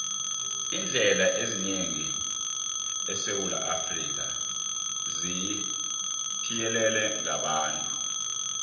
iindlela eziningi esewula afrika zithiyelelwe ngabantu